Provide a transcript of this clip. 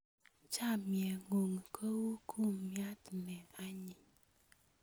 Chamyengung ko u kumnyat ne anyiny